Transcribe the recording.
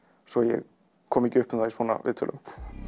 svo ég komi ekki upp um það í svona viðtölum